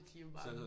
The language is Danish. De jo bare sådan